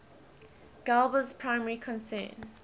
galba's primary concern